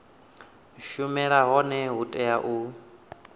shumela hone hu tea u